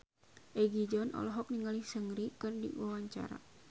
Egi John olohok ningali Seungri keur diwawancara